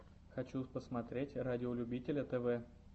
хочу посмотреть радиолюбителя тв